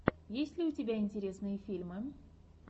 есть ли у тебя интересные фильмы